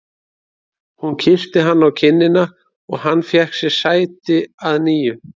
Hún kyssti hann á kinnina og hann fékk sér sæti að nýju.